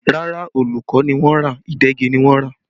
Rárá, òòlù kọ́ ni wọ́n rà, ìdegi ni wọ́n rà